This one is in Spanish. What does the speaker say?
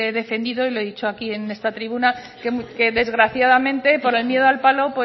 defendido y lo he dicho aquí en esta tribuna que desgraciadamente por el miedo al palo